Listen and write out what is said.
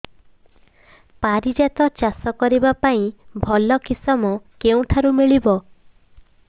ପାରିଜାତ ଚାଷ କରିବା ପାଇଁ ଭଲ କିଶମ କେଉଁଠାରୁ ମିଳିବ